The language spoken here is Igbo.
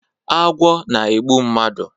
Agwọ na egbu mmadu